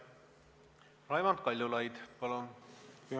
Raimond Kaljulaid, palun!